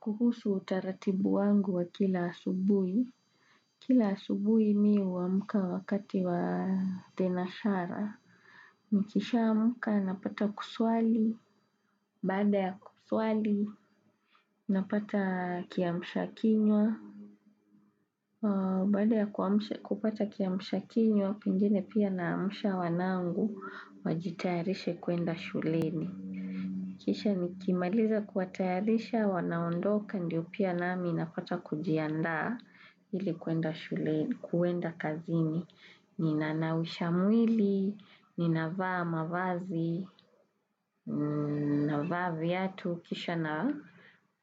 Kuhusu utaratibu wangu wa kila asubuhi. Kila asubuhi mimi humka wakati wa thenashara. Nikisha amka napata kuswali. Baada ya kuswali, napata kiamsha kinywa. Baada ya kupata kiamsha kinywa, pengine pia naamsha wa nangu, wajitayarishe kwenda shuleni. Kisha nikimaliza kuwatayarisha wanaondoka ndiyo pia nami napata kujiandaa ilikwenda shule kwenda kazini. Ninanausha mwili, ninavaa mavazi, navaa viatu. Kisha na